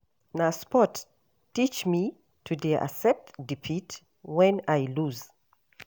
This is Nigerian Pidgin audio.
Na sports teach me to dey accept defeat wen I loose.